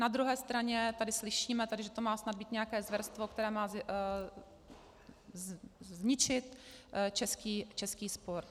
Na druhé straně tady slyšíme, že to má být snad nějaké zvěrstvo, které má zničit český sport.